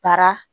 Baara